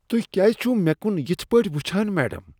تہۍ کیٛازِ چھوٕ مےٚ کن یتھ پٲٹھۍ وٕچھان میڈم؟